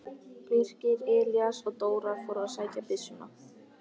Birkir, Elías og Dóra fóru að sækja byssuna.